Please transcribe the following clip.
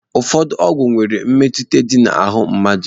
Ụfọdụ ọgwụ nwere mmetụta dị na ahụ mmadụ.